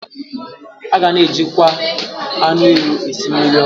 A ga-ejilikwa anụ ewu esi jí mmiriọkụ